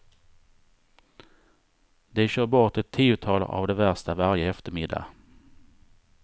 De kör bort ett tiotal av de värsta varje eftermiddag.